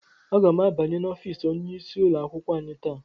Aga m abanye n'ọfịs onyeisi ụlọ akwụkwọ anyị taa.